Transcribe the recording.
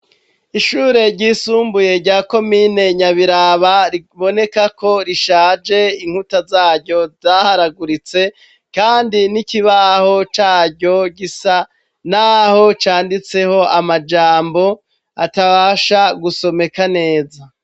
Ishure ryisumbuye rya komine Nyabiraba biboneka ko rishaje inkuta zaryo zaharaguritse kandi n'ikibaho caryo gisa naho canditseho amajambo atabasha gusomeka neza.